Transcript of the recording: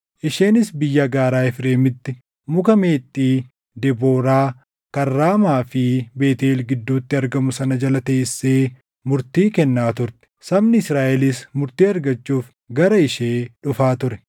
Isheenis biyya gaaraa Efreemitti Muka Meexxii Debooraa kan Raamaa fi Beetʼeel gidduutti argamu sana jala teessee murtii kennaa turte. Sabni Israaʼelis murtii argachuuf gara ishee dhufaa ture.